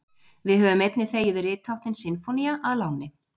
Við höfum einnig þegið ritháttinn sinfónía að láni.